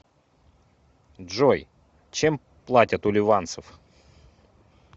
джой чем платят у ливанцев